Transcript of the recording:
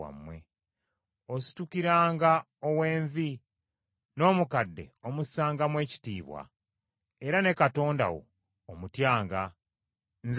“Ositukiranga ow’envi, n’omukadde omussangamu ekitiibwa, era ne Katonda wo omutyanga. Nze Mukama .